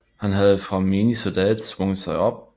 Han havde fra menig soldat svunget sig op